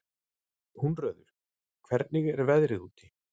Húnröður, hvernig er veðrið úti?